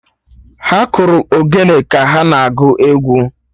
Ha kụrụ Ogene ka ha na-agụ egwu